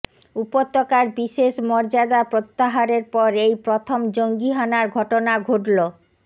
উপত্যকার বিশেষ মর্যাদা প্রত্যাহারের পর এই প্রথম জঙ্গিহানার ঘটনা ঘটল